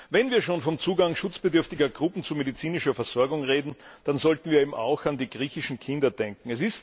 Wenn wir schon vom Zugang schutzbedürftiger Gruppen zu medizinischer Versorgung reden, dann sollten wir eben auch an die griechischen Kinder denken.